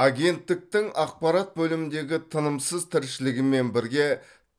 агенттіктің ақпарат бөліміндегі тынымсыз тіршілігімен бірге